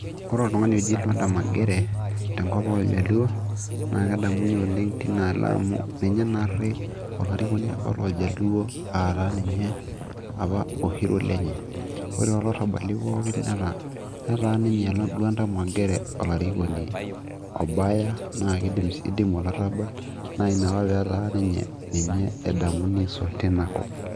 ore oltung'ani oji lwanda magere tenkop oljaluo naa kedamuni oleng tinaalo amu ninye naarri olarikoni apa looljaluo aataa ninye apa o hero lenye ore toolarrabali pookin netaa ninye lwanda magere olarikoni obaya naa kidimu olarrabal naa ina apa peetaa ninye ninye edamuni aisul tinakop.